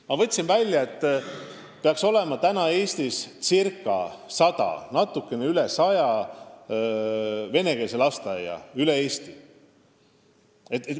Ma võtsin andmed välja: meil peaks Eestis praegu olema natukene üle 100 venekeelse lasteaia.